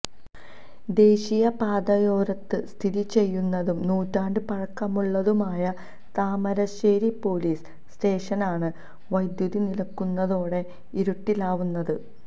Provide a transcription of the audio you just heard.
ദേസീയ പാതയോരത്ത് സ്ഥിതി ചെയ്യുന്നതും നൂറ്റാണ്ട് പഴക്കമുള്ളതുമായ താമരശ്ശേരി പോലിസ് സ്റ്റേഷനാണ് വൈദ്യുതി നിലക്കുന്നതോടെ ഇരുട്ടിലാവുന്നത്